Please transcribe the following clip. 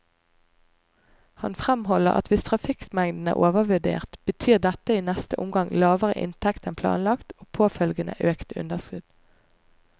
Han fremholder at hvis trafikkmengden er overvurdert, betyr dette i neste omgang lavere inntekter enn planlagt og påfølgende økte underskudd.